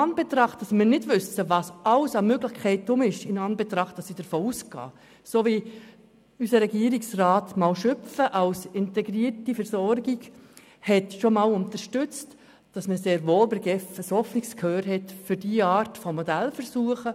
Wir wissen nicht, welche Möglichkeiten bestehen, und bei der GEF besteht sehr wohl ein offenes Ohr für diese Art von Modellversuchen.